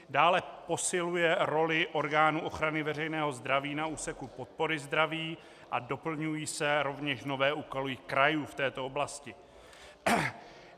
Dále posiluje roli orgánů ochrany veřejného zdraví na úseku podpory zdraví a doplňují se rovněž nové úkoly krajů v této oblasti.